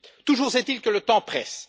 Toujours est il que le temps presse.